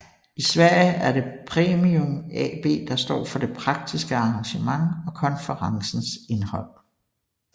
I Sverige er det Premium AB der står for det praktiske arrangement og konferencens indhold